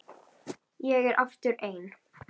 Ég er aftur ein.